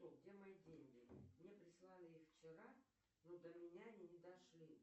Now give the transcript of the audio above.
где мои деньги мне прислали их вчера но до меня они не дошли